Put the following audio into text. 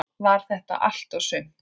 Var þetta allt og sumt?